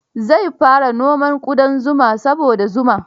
Zai fara noman ƙudan zuma saboda zuma.